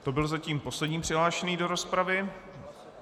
To byl zatím poslední přihlášený do rozpravy.